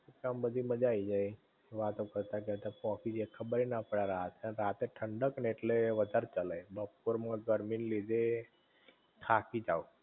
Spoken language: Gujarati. આમ બધી મજા આઈ જાઇ વાતો કરતાં કરતાં પોંકી જયે ખબર ના પડે આ રાત છે, અને રાતે ઠંડક ને ઍટલે વધારે ચલય, બપોર મુ ગરમી ને લીધે થકી જાવ